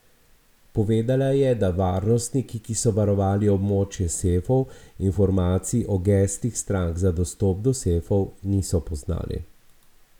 Povedala je, da varnostniki, ki so varovali območje sefov, informacij o geslih strank za dostop do sefov niso poznali.